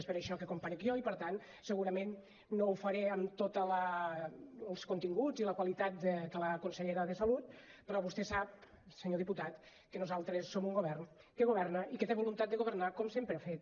és per això que comparec jo i per tant segurament no ho faré amb tots els continguts i la qualitat que la consellera de salut però vostè sap senyor diputat que nosaltres som un govern que governa i que té voluntat de governar com sempre ha fet